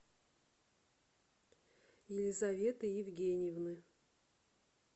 елизаветы евгеньевны